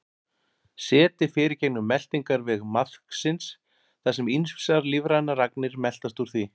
Setið fer í gegnum meltingarveg maðksins þar sem ýmsar lífrænar agnir meltast úr því.